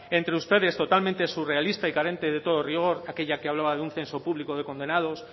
entre ustedes totalmente surrealista y carente de todo rigor aquella que hablaba de un censo público de condenados